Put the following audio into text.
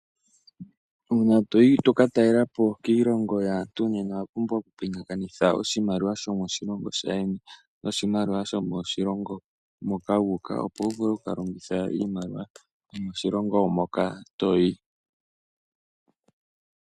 Uuna toyi toka talelapo kiilongo yaantu, owa pumbwa okupingakanitha oshimaliwa shomoshilongo sheni, noshimaliwa shomoshilongo moka wu uka opo wuvule okukalongitha iimaliwa yomoshilongo moka toyi.